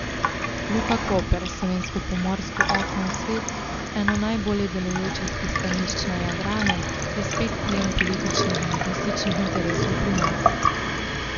Luka Koper, slovensko pomorsko okno v svet, eno najbolje delujočih pristanišč na Jadranu, je spet plen političnih in lobističnih interesov pri nas.